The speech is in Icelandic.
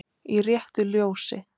Í RÉTTU LJÓSI